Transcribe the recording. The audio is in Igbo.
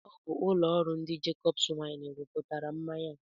Ọ bụ ụlọ ọrụ ndị Jacobs Wine rụpụtara mmanya a.